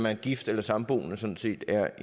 er gift eller samboende sådan set er